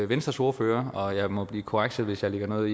venstres ordfører og jeg må blive korrekset hvis jeg lægger